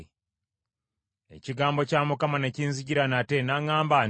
Ekigambo kya Mukama ne kinzijira nate, n’aŋŋamba nti,